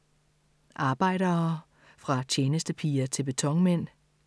Arbejdere - fra tjenestepiger til betonmænd